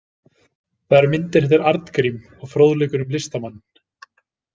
Þar eru myndir eftir Arngrím og fróðleikur um listamanninn.